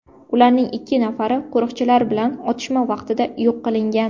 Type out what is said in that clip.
Ularning ikki nafari qo‘riqchilar bilan otishma vaqtida yo‘q qilingan.